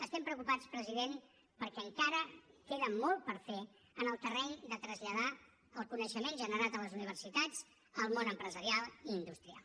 estem preocupats president perquè encara queda molt per fer en el terreny de traslladar el coneixement generat a les universitats al món empresarial i industrial